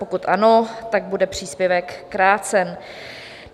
Pokud ano, tak bude příspěvek krácen.